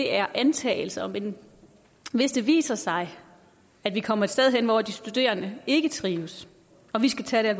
er antagelser men hvis det viser sig at vi kommer et sted hen hvor de studerende ikke trives og vi skal tage